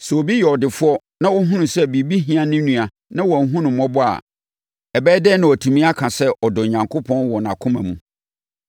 Sɛ obi yɛ ɔdefoɔ na ɔhunu sɛ biribi ho hia ne nua na wanhunu no mmɔbɔ a, ɛbɛyɛ dɛn na watumi aka sɛ ɔdɔ Onyankopɔn wɔ nʼakoma mu?